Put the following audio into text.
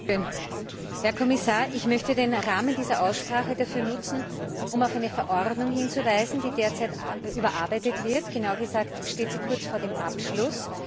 Frau Präsidentin! Herr Kommissar, ich möchte den Rahmen dieser Aussprache dafür nutzen, um auf eine Verordnung hinzuweisen, die derzeit überarbeitet wird, genauer gesagt steht sie kurz vor dem Abschluss.